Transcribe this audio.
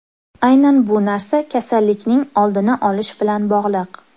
Aynan bu narsa kasallikning oldini olish bilan bog‘liq.